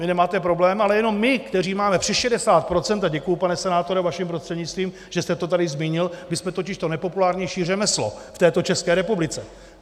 Vy nemáte problém, ale jenom my, kteří máme přes 60 %, a děkuji, pane senátore, vaším prostřednictvím, že jste to tady zmínil, my jsme totiž to nejpopulárnější řemeslo v této České republice.